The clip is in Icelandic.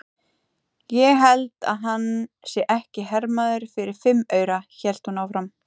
Ég held að hann sé ekki hermaður fyrir fimm aura, hélt hún áfram.